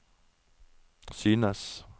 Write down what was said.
synes